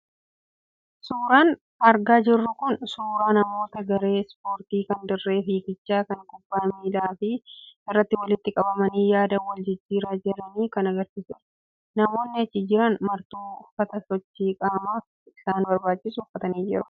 Suuraan argaa jirru kun suuraa namoota gare e 'sport' kan dirree fiigichaa fi kubbaa miilaa irratti walitti qabamanii yaada wal jijjiiraa jiranii kan agarsiisudha. Namoonni achi jiran martuu uffata sochii qaamaaf isaan barbaachisu uffatanii jiru.